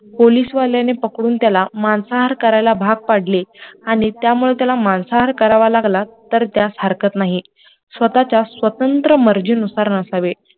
पोलीसवाल्याने पकडून त्याला मांसाहार करायला भाग पाडले, आणि त्यामुळेत्याला मांसाहार करावा लागला तर त्यात हरकत नाही, स्वतःच्या स्वातंत्र्य मर्जी नसावे